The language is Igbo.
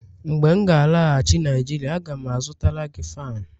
mgbe m ga-alaghachi Naijiria, a ga m azụtara gị fan